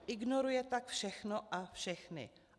Ignoruje tak všechno a všechny.